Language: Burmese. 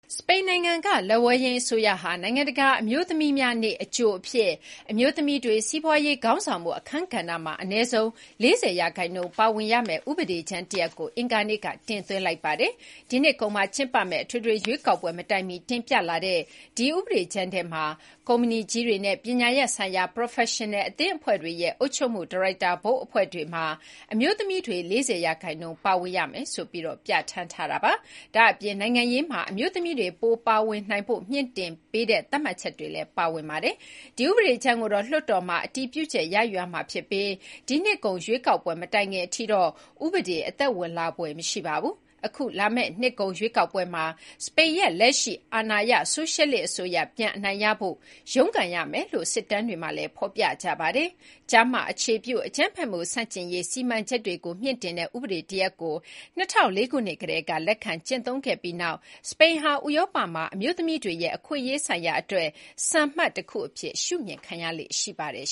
စပိန်နိုင်ငံကလက်ဝဲယိမ်းအစိုးရဟာ နိုင်ငံတကာအမျိုးသမီးများနေ့အကြိုအဖြစ် အမျိုးသမီးတွေ စီးပွားရေးခေါင်းဆောင်မှုအခန်းကဏ္ဍမှာ အနည်းဆုံး ၄၀ ရာခိုင်နှုန်းပါဝင်ရမယ့် ဥပဒေကြမ်းတရပ်ကို အင်္ဂါနေ့ကတင်သွင်းခဲ့ပါတယ်။ ဒီနှစ်ကုန်မှာကျင်းပမယ့် အထွေထွေရွေးကောက်ပွဲမတိုင်မီ တင်ပြလာတဲ့ဒီဥပဒေကြမ်းထဲမှာ ကုမ္ပဏီကြီးတွေနဲ့ ပညာရပ်ဆိုင်ရာ ပရော်ဖက်ရှင်နယ်အသင်းအဖွဲ့တွေရဲ့ အုပ်ချုပ်မှုဒါရိုက်တာဘုတ်အဖွဲ့တွေမှာ အမျိုးသမီးတွေ ၄၀ ရာခိုင်နှုန်း ပါဝင်ရမယ်ဆိုပြီး ပြဌာန်းထားပါတယ်။ ဒါ့ပြင် နိုင်ငံရေးမှာ အမျိုးသမီးတွေ ပို ပါဝင်နိုင်ဖို့ မြှင့်တင်ပေးတဲ့ သတ်မှတ်ချက်တွေလည်း ပါဝင်ပါတယ်။ ဒီဥပဒေကြမ်းကိုတော့ လွှတ်တော်မှာ အတည်ပြုချက်ရယူရမှာဖြစ်ပြီး ဒီနှစ်ကုန်ရွေးကောက်ပွဲမတိုင်ခင်အထိတော့ ဥပဒေအသက်ဝင်လာဖွယ်မရှိပါဘူး။ အခု လာမယ့်နှစ်ကုန်ရွေးကောက်ပွဲမှာ စပိန်ရဲ့လက်ရှိအာဏာရဆိုရှယ်လစ်အစိုးရ ပြန်အနိုင်ရဖို့ ရုန်းကန်ရမယ်လို့ စစ်တမ်းတွေမှာ ဖော်ပြနေပါတယ်။ ကျား-မအခြေပြု အကြမ်းဖက်မှုဆန့်ကျင်ရေး စီမံချက်တွေကို မြှင့်တင်တဲ့ ဥပဒေတရပ်ကို ၂၀၀၄ ခုနှစ်ကတည်းက လက်ခံကျင့်သုံးပြီးနောက်မှာ စပိန်ဟာ ဥရောပမှာ အမျိုးသမီးတွေရဲ့ အခွင့်အရေး ဆိုင်ရာအတွက် စံမှတ်တခုအဖြစ် ရှုမြင်ခံရလေ့ရှိပါတယ်